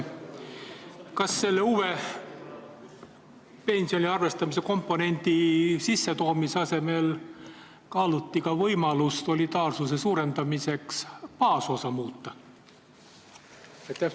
Kas pensioni arvestamisel uue komponendi kasutuselevõtu asemel kaaluti ka võimalust solidaarsuse suurendamiseks baasosa muuta?